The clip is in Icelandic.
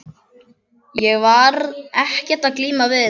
Ég var ekkert að glíma við þetta.